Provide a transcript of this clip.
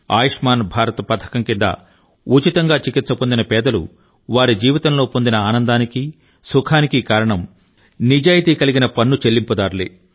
ఆయుష్మాన్ భారత్ పథకం కింద ఉచితంగా చికిత్స పొందిన పేదలు వారి జీవితంలో పొందిన ఆనందానికి సుఖానికి కారణం నిజాయితీ కలిగిన పన్ను చెల్లింపుదారులే